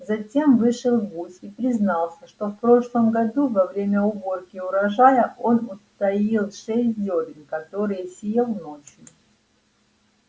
затем вышел гусь и признался что в прошлом году во время уборки урожая он утаил шесть зёрен которые съел ночью